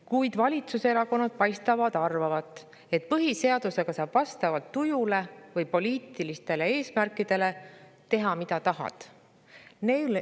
Kuid valitsuserakonnad paistavad arvavat, et põhiseadusega saab vastavalt tujule või poliitilistele eesmärkidele teha, mida tahad.